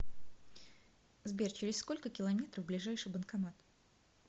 сбер через сколько километров ближайший банкомат